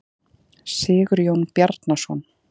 Sigurjón Bjarnason.